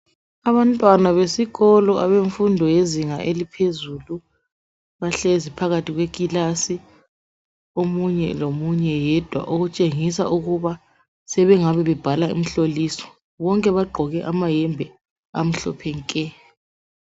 Abantwana besikolo abemfundo yezinga eliphezulu bahlezi phakathi kwekilasi omunye lomunye yedwa okutshengisa ukuba sebengaba bebhala umhloliso bonke bagqoke amayembe amhlophe nke.